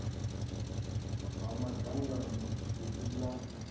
ha dzangano ḽi si ḽa